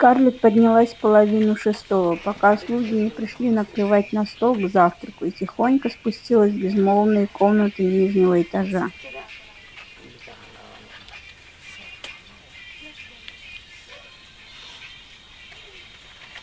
скарлетт поднялась в половину шестого пока слуги не пришли накрывать на стол к завтраку и тихонько спустилась в безмолвные комнаты нижнего этажа